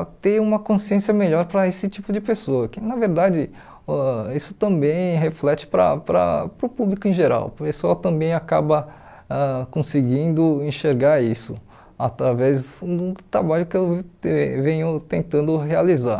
a ter uma consciência melhor para esse tipo de pessoa, que na verdade uh isso também reflete para para para o público em geral, o pessoal também acaba ãh conseguindo enxergar isso através do trabalho que eu te venho tentando realizar.